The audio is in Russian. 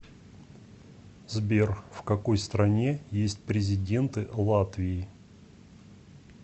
сбер в какой стране есть президенты латвии